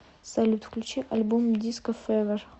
салют включи альбом диско февер